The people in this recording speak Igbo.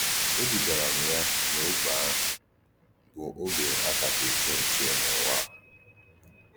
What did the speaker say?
Édùgàrà m yá n’ógbè àhụ̀, bụ́ ógbè à kacha èché nche n’ụ̀wà.